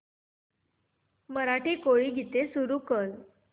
मराठी कोळी गीते सुरू कर